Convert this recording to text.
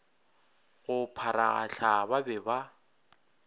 go pharagahla ba be ba